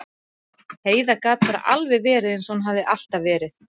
Heiða gat bara alveg verið eins og hún hafði alltaf verið.